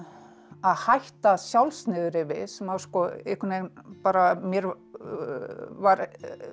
að hætta sjálfsniðurrifi sem einhvern veginn bara mér var